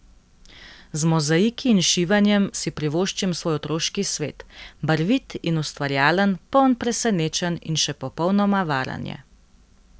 Z mozaiki in šivanjem si privoščim svoj otroški svet, barvit in ustvarjalen, poln presenečenj in še popolnoma varen je.